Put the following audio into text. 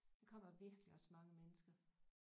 Der kommer virkelig også mange mennesker